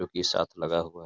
जोकि साथ लगा हुआ --